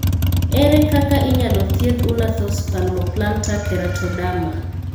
Ere kaka inyalo thiedh Unna Thost palmoplantar keratoderma?